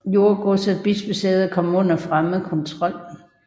Jordegods og bispesæder kom under fremmed kontrol